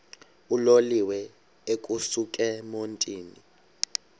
uloliwe ukusuk emontini